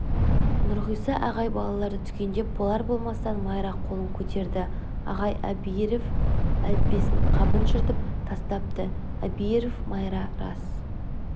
нұрғиса ағай балаларды түгендеп болар-болмастан майра қолын көтерді ағай әбиіров әліппесініңқабын жыртып тастапты әбиіров майра рас